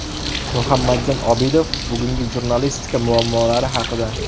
Muhammadjon Obidov bugungi jurnalistika muammolari haqida.